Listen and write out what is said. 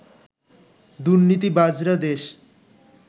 দুর্নীতিবাজরা দেশ